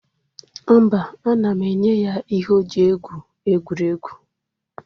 Mba, ana m enye ya ihe o ji egwu egwuregwu.